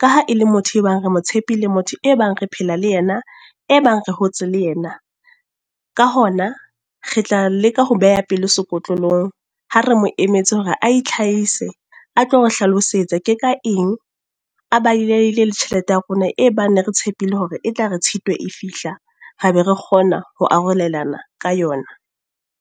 Ka ha e le motho e bang re mo tshepile motho e bang re phela le yena, e bang re hotse le yena. Ka hona re tla leka ho beha pelo sekotlolong. Ha re mo emetse hore a itlhahise, a tlo re hlalosetsa ke ka eng, a baleile le tjhelete ya rona. E bang ne re tshepile hore e tla re Tshitwe e fihla, ra be re kgona ho arolelana ka yona.